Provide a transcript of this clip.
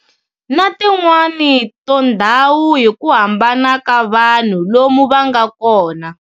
Na tin'wani to ndhawu hiku hambana ka vanhu lomu vanga kona.